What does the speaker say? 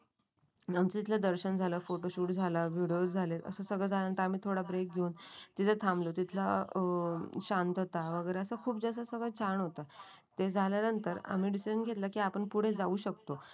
आमच्या इथलं दर्शन झालं फोटोशूट झाला व्हिडिओ झाले. असं सगळं झाल्यानंतर आम्ही थोडा ब्रेक घेऊन. तिथे थांबले तिथलं. अं शांतता वगैरे असं खूप जास्त सगळं छान होतं. ते झाल्यानंतर आम्ही डिसिजन घेतलं की आपण पुढे जाऊ शकतो.